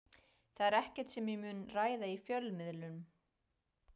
Það er ekkert sem ég mun ræða í fjölmiðlum.